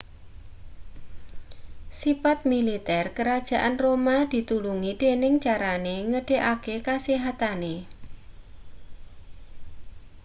sipat militer kerajaan roma ditulungi dening carane nggedekake kasihatane